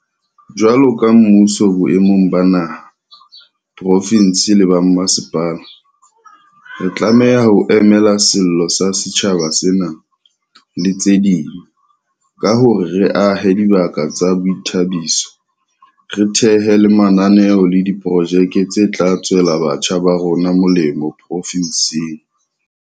Jwalo ka mmuso boemong ba naha, profinse le ba mmasepala, re tlameha ho mamela sello sa setjhaba sena, le tse ding, ka hore re ahe dibaka tsa boithabiso, re thehe le mananeo le diprojeke tse tla tswela batjha ba rona molemo profinseng.